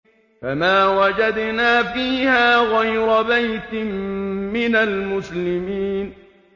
فَمَا وَجَدْنَا فِيهَا غَيْرَ بَيْتٍ مِّنَ الْمُسْلِمِينَ